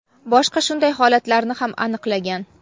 boshqa shunday holatlarni ham aniqlagan.